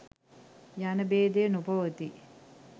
යන භේදය නොපවතී.